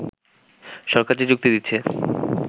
সরকার যে যুক্তি দিচ্ছে